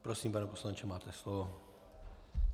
Prosím, pane poslanče, máte slovo.